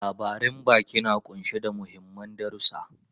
Labaran baki na kunshe da mahimman darusa.